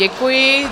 Děkuji.